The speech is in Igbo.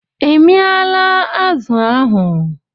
I miala azụ ahụ?